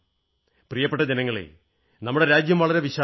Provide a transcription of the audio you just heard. പ്രിയപ്പെട്ട ജനങ്ങളേ നമ്മുടെ രാജ്യം വളരെ വിശാലമാണ്